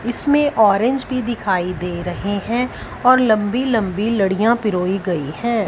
इसमें ऑरेंज भी दिखाई दे रहे हैं और लंबी लंबी लडिया पिरोई गई है।